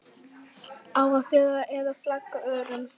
Á að fela eða flagga örum?